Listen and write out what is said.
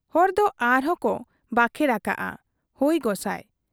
ᱦᱚᱲ ᱠᱚ ᱟᱨᱦᱚᱸ ᱠᱚ ᱵᱟᱠᱷᱮᱬ ᱟᱠᱟᱜ ᱟ, ᱦᱚᱭ ᱜᱚᱸᱥᱟᱭ ᱾